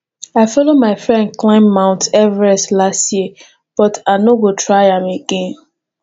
i follow my friend climb mount everest last year but i no go try am again